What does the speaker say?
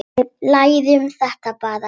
Við lærum þetta bara.